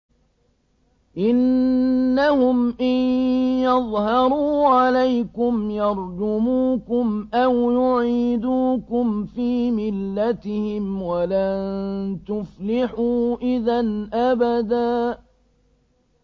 إِنَّهُمْ إِن يَظْهَرُوا عَلَيْكُمْ يَرْجُمُوكُمْ أَوْ يُعِيدُوكُمْ فِي مِلَّتِهِمْ وَلَن تُفْلِحُوا إِذًا أَبَدًا